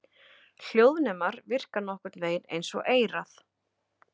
Hljóðnemar virka nokkurn vegin eins og eyrað.